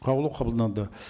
қаулы қабылданды